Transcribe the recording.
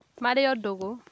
Marĩo ndũgũ